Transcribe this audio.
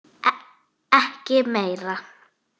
Ekki meira.